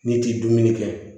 N'i ti dumuni kɛ